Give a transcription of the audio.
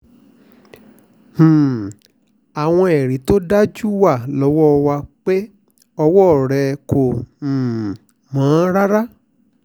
um àwọn ẹ̀rí tó dájú wà lọ́wọ́ wa pé ọwọ́ rẹ̀ kò um mọ́ rárá